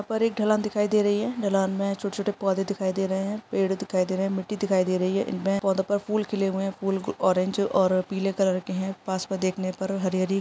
पर एक ढलान दिखाई दे रही है ढलान में छोटे -छोटे पौधे दिखाई दे रहे है पेड़ दिखाई दे रहे है मिट्टी दिखाई दे रही है नए पौधों पर फूल खिले हुए है फूल गु ऑरेंज और पीले कलर के है पास पे देखने पर हरी- हरी --